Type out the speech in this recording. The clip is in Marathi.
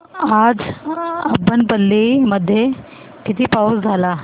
आज अब्बनपल्ली मध्ये किती पाऊस झाला